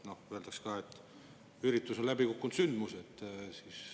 Öeldakse ka, et üritus on läbi kukkunud sündmus.